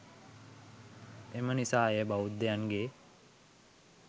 එමනිසා එය බෞද්ධයන්ගේ